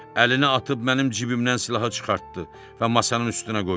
Əlini atıb mənim cibimdən silahı çıxartdı və masanın üstünə qoydu.